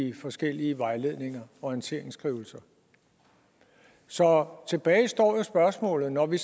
i forskellige vejledninger og orienteringsskrivelser så tilbage står jo spørgsmålet når vi